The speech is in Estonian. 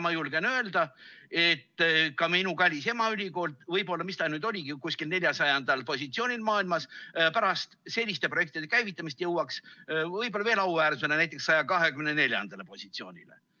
Ma julgen öelda, et ka minu kallis emaülikool – kus ta nüüd oligi, kuskil 400. positsioonil maailmas – jõuaks pärast selliste projektide käivitamist võib-olla veel auväärsemale, näiteks 124. positsioonile.